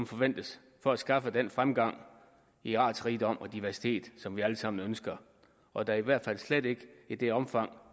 forventes for at skaffe den fremgang i artsrigdom og diversitet som vi alle sammen ønsker og da i hvert fald slet ikke i det omfang